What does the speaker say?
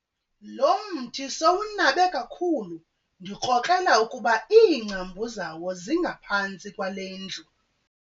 Lo mthi sowunabe kakhulu ndikrokrela ukuba iingcambu zawo zingaphantsi kwale ndlu.